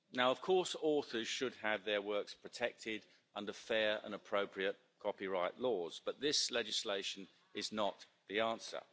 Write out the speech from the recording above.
Of course authors should have their works protected under fair and appropriate copyright laws, but this legislation is not the answer.